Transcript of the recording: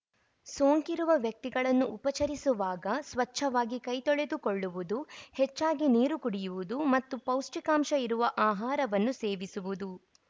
ಸೋಂಕಿರುವ ವ್ಯಕ್ತಿಗಳನ್ನು ಉಪಚರಿಸುವಾಗ ಸ್ವಚ್ಛವಾಗಿ ಕೈ ತೊಳೆದುಕೊಳ್ಳುವುದು ಹೆಚ್ಚಾಗಿ ನೀರು ಕುಡಿಯುವುದು ಮತ್ತು ಪೌಷ್ಠಿಕಾಂಶ ಇರುವ ಆಹಾರವನ್ನು ಸೇವಿಸುವುದು